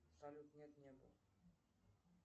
салют нет не был